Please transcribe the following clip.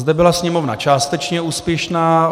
Zde byla Sněmovna částečně úspěšná.